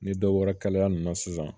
Ni dɔ bɔra kalaya nunnu na sisan